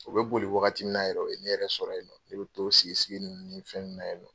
U bɛ boli wagati min na yɛrɛ o ye ne yɛrɛ sɔrɔ yen nɔ ne bɛ t'o sigi sigini ye fɛn ninnu na ye.